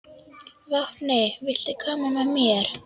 Vápni, viltu hoppa með mér?